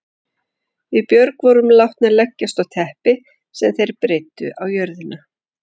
Við Björg vorum látnar leggjast á teppi sem þeir breiddu á jörðina.